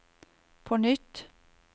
på nytt